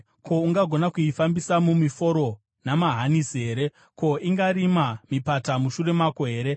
Ko, ungagona kuifambisa mumiforo namahanisi here? Ko, ingarima mipata mushure mako here?